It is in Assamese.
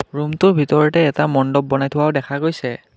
ৰুমটোৰ ভিতৰতে এটা মণ্ডপ বনাই থোৱাও দেখা গৈছে।